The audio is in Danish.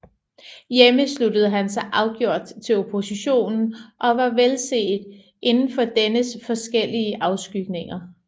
Hjemme sluttede han sig afgjort til oppositionen og var velset inden for dennes forskellige afskygninger